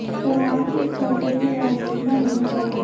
सरकार के इस फैसले की आलोचना होना तय है